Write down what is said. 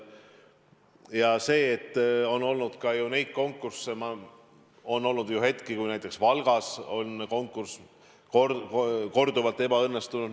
Ja on olnud neid konkursse, on olnud ju hetki, kui näiteks Valgas on konkurss korduvalt ebaõnnestunud.